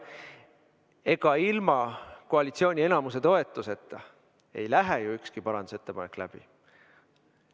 Ega ilma koalitsiooni enamuse toetuseta ei lähe ju ükski parandusettepanek läbi.